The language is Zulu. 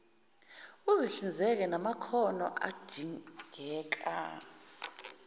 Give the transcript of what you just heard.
uzihlinzeke ngamakhono adingeka